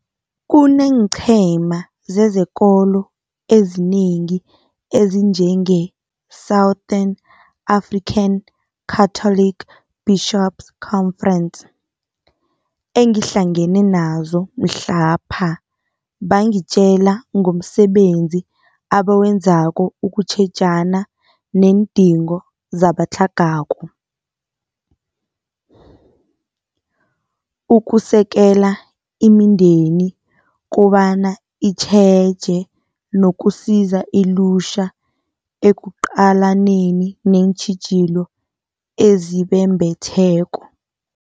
Kuneenqhema zezekolo ezinengi ezinjenge-Southern African Catholic Bishops' Conference, engihlangene nazo mhlapha bangitjela ngomsebenzi abawenzako ukutjhejana neendingo zabatlhagako, ukusekela imindeni kobana itjheje nokusiza ilutjha ekuqalaneni neentjhijilo ezibembetheko.